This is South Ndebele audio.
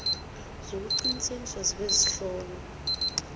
zokuqinisekisa zebee ezihlonywe